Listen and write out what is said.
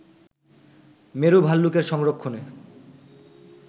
মেরু ভাল্লুকের সংরক্ষণে